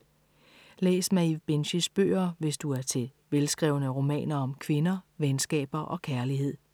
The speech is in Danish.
Læs Maeve Binchys bøger, hvis du er til velskrevne romaner om kvinder, venskaber og kærlighed.